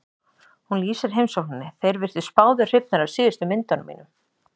Hún lýsir heimsókninni: Þeir virtust báðir hrifnir af síðustu myndunum mínum.